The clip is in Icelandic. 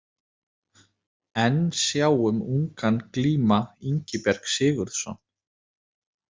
Enn sjáum ungan glíma Ingiberg Sigurðsson.